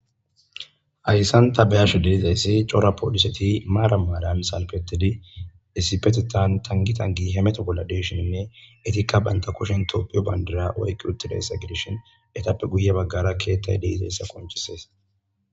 Haysan ta be'ashe de'izaysi cora poliset marani marani salpetidi issipetetan tangi tangi hemeto bolla de'ishininne etika banta kushen tophiya Bandra oyki utidaysa gidishn etappe guye bagara ketay de'izaysa qoncises.